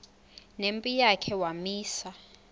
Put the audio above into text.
nempi yakhe wamisa